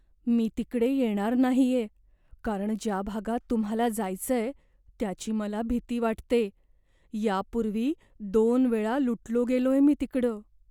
मी तिकडं येणार नाहीये, कारण ज्या भागात तुम्हाला जायचंय त्याची मला भीती वाटते. यापूर्वी दोन वेळा लुटलो गेलोय मी तिकडं.